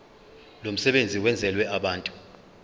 lomsebenzi wenzelwe abantu